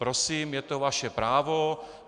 Prosím, je to vaše právo.